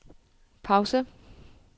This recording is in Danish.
pause